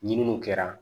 Ɲininiw kɛra